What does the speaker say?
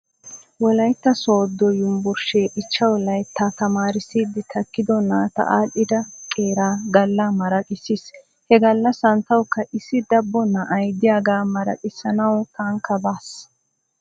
Wolaytta soodo yumbburshee ichchaw layitta tamaarissiddi takkido naata aadhdhida qeeraa galla maraqissis. He gallasan tawkka issi dabbo na'ay diyaagaa maraqissanaw tankka baas.